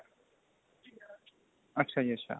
ਅੱਛਾ ਜੀ ਅੱਛਾ